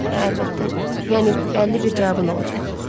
Əlbəttə, yəni bəlli bir cavab olacaq.